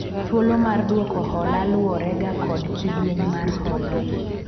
thuolo mar dwoko hola luwore ga kod kidieny mar hola